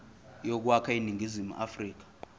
yokwakha iningizimu afrika